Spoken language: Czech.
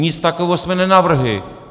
Nic takového jsme nenavrhli!